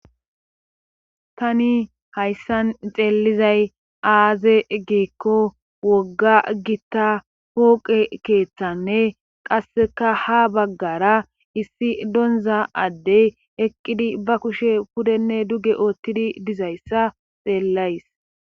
Tani hayssan xeellizay aaze geekko wogga gitta pooqe keeththanne qasseka ha baggara issi donza addey eqqidi ba kushe pudenne duge oottidi dizayssa xeellays.